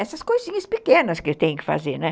essas coisinhas pequenas que tem que fazer, né?